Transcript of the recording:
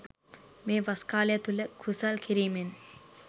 මේ වස් කාලය තුල කුසල් කිරීමෙන්